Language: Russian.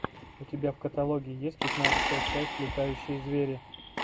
у тебя в каталоге есть пятнадцатая часть летающие звери